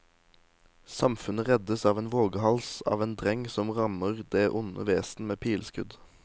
Samfunnet reddes av en vågehals av en dreng som rammer det onde vesen med pileskudd.